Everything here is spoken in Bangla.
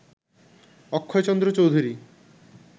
অক্ষয়চন্দ্র চৌধুরী